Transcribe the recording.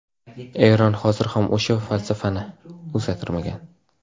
Eron hozir ham o‘sha falsafasini o‘zgartirmagan.